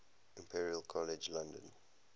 imperial college london